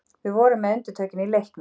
Við vorum með undirtökin í leiknum